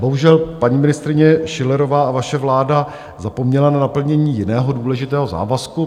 Bohužel paní ministryně Schillerová a vaše vláda zapomněly na naplnění jiného důležitého závazku.